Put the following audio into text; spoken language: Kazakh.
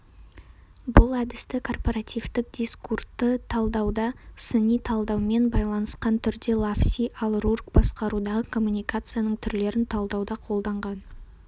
бұл әдісті корпоративтік дискурты талдауда сыни талдаумен байланысқан түрде лавси ал рурк басқарудағы коммуникацияның түрлерін талдауда қолданған